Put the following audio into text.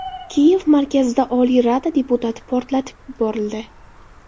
Kiyev markazida Oliy rada deputati portlatib yuborildi.